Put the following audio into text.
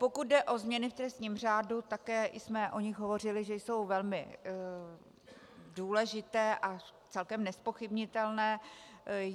Pokud jde o změny v trestním řádu, také jsme o nich hovořili, že jsou velmi důležité a celkem nezpochybnitelné.